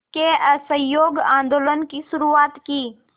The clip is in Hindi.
के असहयोग आंदोलन की शुरुआत की